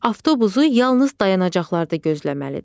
Avtobusu yalnız dayanacaqlarda gözləməlidir.